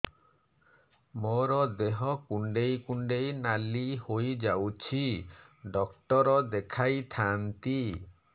ମୋର ଦେହ କୁଣ୍ଡେଇ କୁଣ୍ଡେଇ ନାଲି ହୋଇଯାଉଛି ଡକ୍ଟର ଦେଖାଇ ଥାଆନ୍ତି